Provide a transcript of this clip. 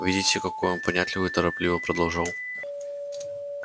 видите какой он понятливый торопливо продолжал